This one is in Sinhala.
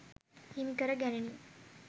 හිමි කර ගැනිණි.